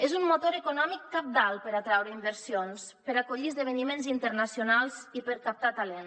és un motor econòmic cabdal per atraure inversions per acollir esdeveniments internacionals i per captar talent